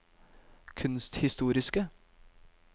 kunsthistoriske